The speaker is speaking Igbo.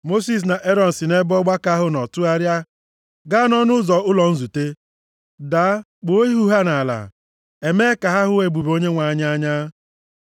Mosis na Erọn si nʼebe ọgbakọ ahụ nọ tụgharịa gaa nʼọnụ ụzọ ụlọ nzute, daa kpụọ ihu ha nʼala. E mee ka ha hụ ebube Onyenwe anyị anya.